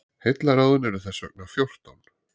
Heillaráðin eru þess vegna fjórtán.